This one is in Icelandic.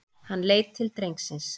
Hann leit til drengsins.